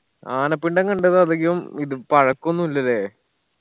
ആനപ്പിണ്ടം കണ്ടത് അധികം ഇത് പഴക്കൊന്നില്ല ല്ലേ